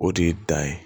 O de ye dan ye